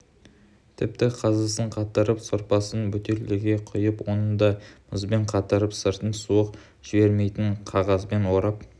тіпті қазысын қатырып сорпасын бөтелкеге құйып оны да мұзбен қатырып сыртын суық жібермейтін қағазбен орап